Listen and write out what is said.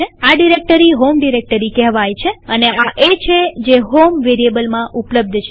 આ directory home directory કહેવાય છે અને આ એ છે જે હોમ વેરીએબલમાં ઉપલબ્ધ છે